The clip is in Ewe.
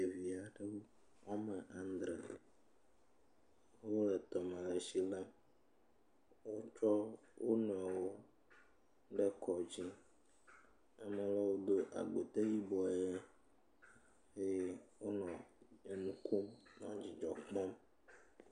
…